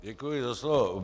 Děkuji za slovo.